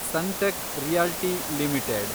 Sunteck realty limited